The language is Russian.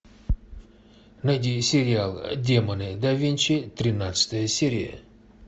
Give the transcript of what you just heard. найди сериал демоны да винчи тринадцатая серия